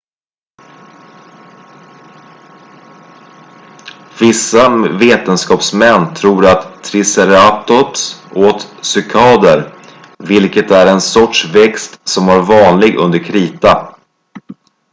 vissa vetenskapsmän tror att triceratops åt cykader vilket är en sorts växt som var vanlig under krita